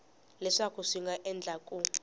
leswaku swi nga endleka ku